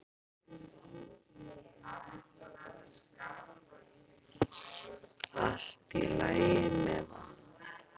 Allt í lagi með hann.